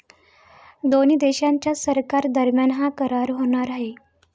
दोन्ही देशांच्या सरकारादरम्यान हा करार होणार आहे.